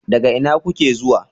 Daga ina kuke zuwa?